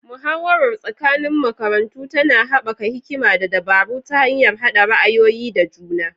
Muhawarar tsakanin makarantu tana haɓaka hikima da dabaru ta hanyar haɗa ra'ayoyi da juna.